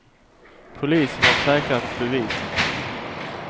Polisen har säkrat bevis mot honom.